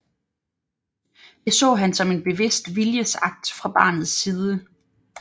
Det så han som en bevidst viljesakt fra barnets side